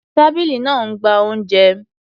Tábìlì náà ń gba oúnjẹ.